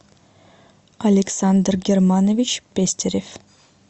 александр германович пестерев